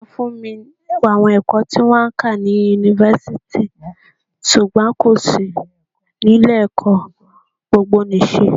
Sọ fún mi àwọn ẹ̀kọ́ tí wón ń kà ni Yunifasiti ṣùgbọ́n kò sí ní ilé ẹ̀kọ́ gbogbo nì ṣe?